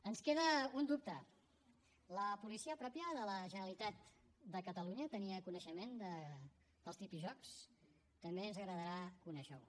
ens queda un dubte la policia pròpia de la generalitat de catalunya tenia coneixement dels tripijocs també ens agradarà conèixer ho